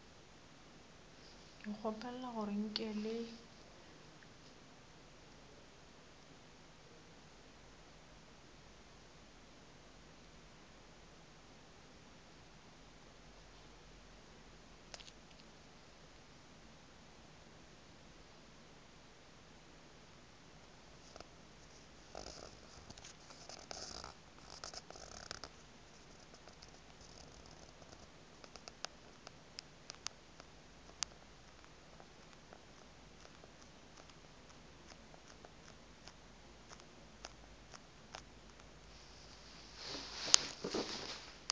ke kgopela gore nke le